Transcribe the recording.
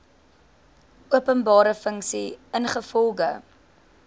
openbare funksie ingevolge